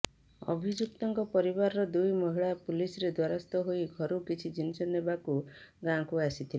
ଅଭିଯୁକ୍ତଙ୍କ ପରିବାରର ଦୁଇ ମହିଳା ପୁଲିସରେ ଦ୍ୱାରସ୍ଥ ହୋଇ ଘରୁ କିଛି ଜିନିଷ ନେବାକୁ ଗାଁକୁ ଆସିଥିଲେ